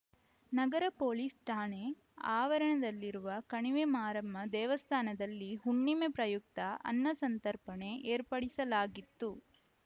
ನಗರ police ಠಾಣೆ ಆವರಣದಲ್ಲಿರುವ ಕಣಿವೆಮಾರಮ್ಮ ದೇವಸ್ಥಾನದಲ್ಲಿ ಹುಣ್ಣಿಮೆ ಪ್ರಯುಕ್ತ ಅನ್ನಸಂತರ್ಪಣೆ ಏರ್ಪಡಿಸಲಾಗಿತ್ತು